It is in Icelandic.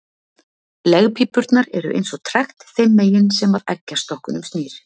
Legpípurnar eru eins og trekt þeim megin sem að eggjastokkunum snýr.